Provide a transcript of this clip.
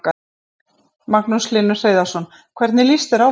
Magnús Hlynur Hreiðarsson: Hvernig líst þér á þetta?